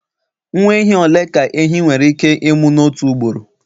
Nwa ehi ole ka ehi nwere ike ịmụ n'otu ugboro